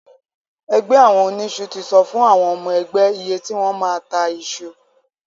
Ẹgbẹ́ àwọn oníṣu ti sọ fún àwọn ọmọ ẹgbẹ́ iye tí wọ́n máa ta iṣu.